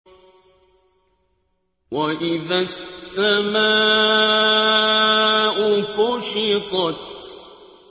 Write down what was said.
وَإِذَا السَّمَاءُ كُشِطَتْ